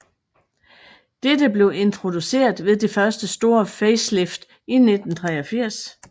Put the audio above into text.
Dette blev introduceret ved det første store facelift i 1983